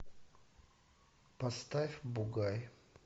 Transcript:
поставь бугай